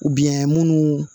munnu